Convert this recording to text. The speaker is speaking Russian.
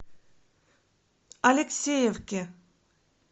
алексеевке